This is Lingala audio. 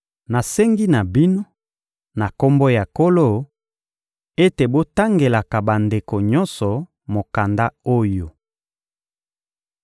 Nasengi na bino, na Kombo ya Nkolo, ete botangelaka bandeko nyonso mokanda oyo.